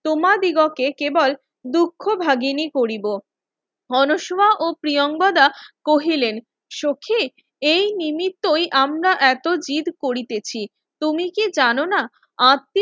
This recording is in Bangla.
তোমাদিগকে কেবল দুক্ষ ভাগিনী কৰিব অনশমা ও প্রিঙ্গদা কহিলেন সখি এই নিমিত্তই আমরা আমরা এত জিৎ করিতেছি তুমি কি জানোনা